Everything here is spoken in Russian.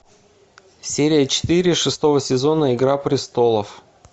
серия четыре шестого сезона игра престолов